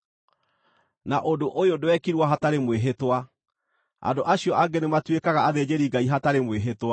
Na ũndũ ũyũ ndwekirwo hatarĩ mwĩhĩtwa! Andũ acio angĩ nĩmatuĩkaga athĩnjĩri-Ngai hatarĩ mwĩhĩtwa,